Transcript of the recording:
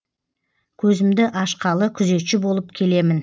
көзімді ашқалы күзетші болып келемін